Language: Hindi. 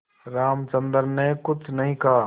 रामचंद्र ने कुछ नहीं कहा